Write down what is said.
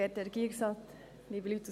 Gut, sprechen Sie einfach mal.